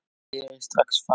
Berið strax fram.